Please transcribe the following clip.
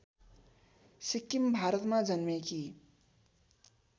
सिक्किम भारतमा जन्मेकी